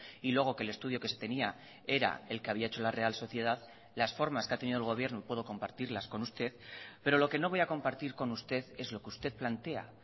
y luego que el estudio que se tenía era el que había hecho la real sociedad las formas que ha tenido el gobierno puedo compartirlas con usted pero lo que no voy a compartir con usted es lo que usted plantea